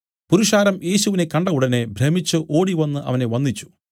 പുരുഷാരം യേശുവിനെ കണ്ട ഉടനെ ഭ്രമിച്ചു ഓടിവന്നു അവനെ വന്ദിച്ചു